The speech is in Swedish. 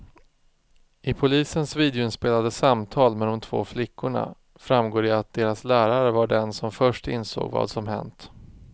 I polisens videoinspelade samtal med de två flickorna framgår det att deras lärare var den som först insåg vad som hänt.